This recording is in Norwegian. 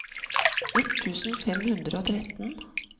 ett tusen fem hundre og tretten